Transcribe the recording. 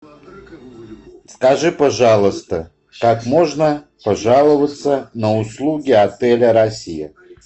скажи пожалуйста как можно пожаловаться на услуги отеля россия